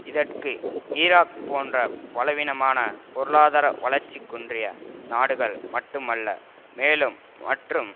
இதற்கு ஈராக் போன்ற பலவீனமான பொருளாதார வளர்ச்சி குன்றிய நாடுகள் மட்டுமல்ல மேலும் மற்றும்